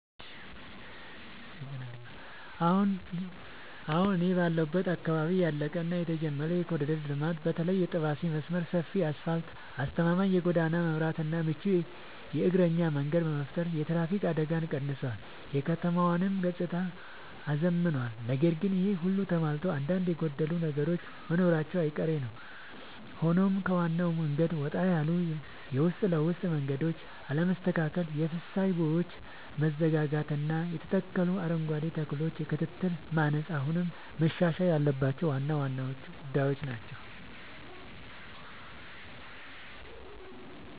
አሁን እኔ ባለሁበት አካባቢ ያለቀ እና የተጀመረ የኮሪደር ልማት (በተለይ የጠባሴ መስመር) ሰፊ አስፋልት: አስተማማኝ የጎዳና መብራትና ምቹ የእግረኛ መንገድ በመፍጠር የትራፊክ አደጋን ቀንሷል: የከተማዋንም ገጽታ አዝምኗል። ነገር ግን ይሄ ሁሉ ተሟልቶ አንዳንድ የጎደሉ ነገሮች መኖራቸው አይቀሬ ነዉ ሆኖም ከዋናው መንገድ ወጣ ያሉ የውስጥ ለውስጥ መንገዶች አለመስተካከል: የፍሳሽ ቦዮች መዘጋጋትና የተተከሉ አረንጓዴ ተክሎች የክትትል ማነስ አሁንም መሻሻል ያለባቸው ዋና ዋና ጉዳዮች ናቸው።